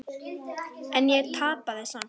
En ég tapaði samt.